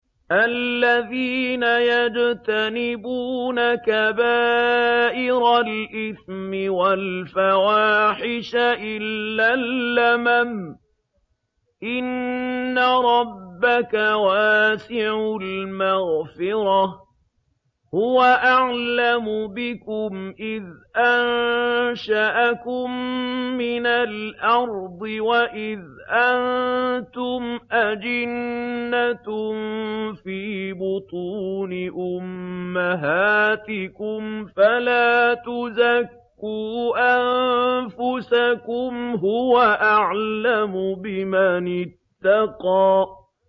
الَّذِينَ يَجْتَنِبُونَ كَبَائِرَ الْإِثْمِ وَالْفَوَاحِشَ إِلَّا اللَّمَمَ ۚ إِنَّ رَبَّكَ وَاسِعُ الْمَغْفِرَةِ ۚ هُوَ أَعْلَمُ بِكُمْ إِذْ أَنشَأَكُم مِّنَ الْأَرْضِ وَإِذْ أَنتُمْ أَجِنَّةٌ فِي بُطُونِ أُمَّهَاتِكُمْ ۖ فَلَا تُزَكُّوا أَنفُسَكُمْ ۖ هُوَ أَعْلَمُ بِمَنِ اتَّقَىٰ